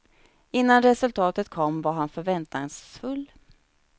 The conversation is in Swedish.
Innan resultatet kom var han förväntansfull.